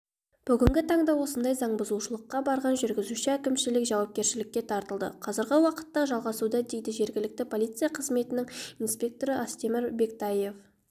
бүгінгі таңда осындай заңбұзушылыққа барған жүргізуші әкімшілік жауапкершілікке тартылды қазіргі уақытта жалғасуда дейді жергілікті полиция қызметінің инспекторы астемір бектаев